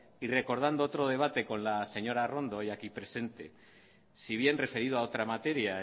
y recordando otro debate con la señora arrondo hoy aquí presente si bien referido a otra materia